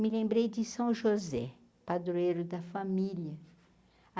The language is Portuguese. Me lembrei de São José, padroeiro da família.